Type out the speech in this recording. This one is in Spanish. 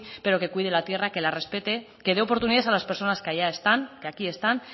pero que cuide la tierra que la respete que de oportunidades a las personas que allá están que aquí están